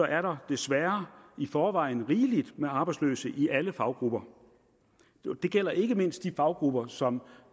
er der desværre i forvejen rigeligt med arbejdsløse i alle faggrupper det gælder ikke mindst de faggrupper som